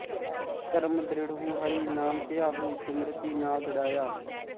ਧਰਮ ਦ੍ਰਿੜਹੁ ਹਰਿ ਨਾਮ ਧਿਆਵਹੁ ਸਿਮ੍ਰਤਿ ਨਾਮ ਦ੍ਰਿੜ੍ਹਾਇਆ